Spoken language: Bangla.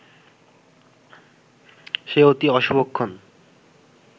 সে অতি অশুভক্ষণ